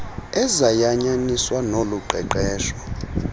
ezayanyaniswa nolu qeqesho